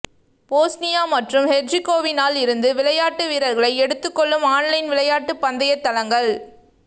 Bosnia மற்றும் ஹெர்ஜிகோவினாவில் இருந்து விளையாட்டு வீரர்களை எடுத்துக் கொள்ளும் ஆன்லைன் விளையாட்டு பந்தய தளங்கள்